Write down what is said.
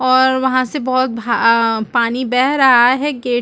और वहाँ से बहुत भा पानी बह रहा है गेट --